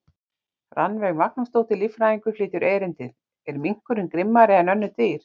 Rannveig Magnúsdóttir, líffræðingur, flytur erindið: Er minkurinn grimmari en önnur dýr?